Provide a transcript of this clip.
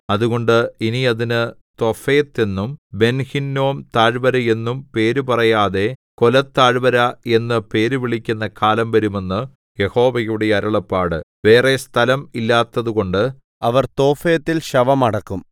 അതുകൊണ്ട് ഇനി അതിന് തോഫെത്ത് എന്നും ബെൻഹിന്നോം താഴ്വര എന്നും പേരുപറയാതെ കൊലത്താഴ്വര എന്നു പേര് വിളിക്കുന്ന കാലം വരും എന്ന് യഹോവയുടെ അരുളപ്പാട് വേറെ സ്ഥലം ഇല്ലാത്തതുകൊണ്ട് അവർ തോഫെത്തിൽ ശവം അടക്കും